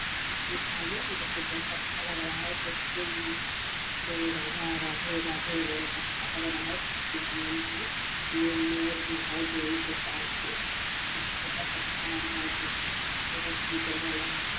राधा कृष्ण है जो कि बहुत अच्छा लग रहा है देख के जय राधा राधे राधे बोल के अच्छा लग रहा है कृष्ण भगवान के लिए ये मोर भी है जो उनके साथ में बहोत अच्छा लग रहा है देख के खूबसूरत भी जगह लग रहा है ।